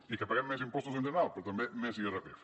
i que paguem més impostos en general però també més irpf